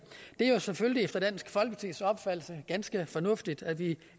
det er jo selvfølgelig efter dansk folkepartis opfattelse ganske fornuftigt at vi